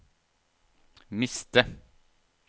miste